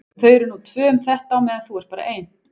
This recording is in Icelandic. Og þau eru nú tvö um þetta á meðan þú ert bara ein.